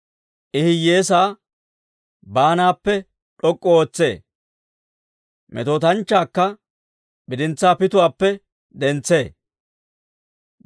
I hiyyeesaa baanaappe d'ok'k'u ootsee; metootanchchaakka bidintsaa pituwaappe dentsee.